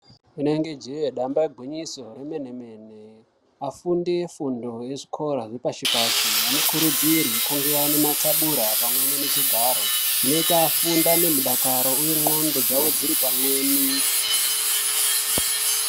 Rinenge jee damba igwinyiso remene-mene afundi efundo yezvikora yepashi pashi anokuridzirwe kunge ane mathubura pamwe nezvigaro zvinoita kuti afunde nemudakaro uye ndxondo dzawo dziri pamweni.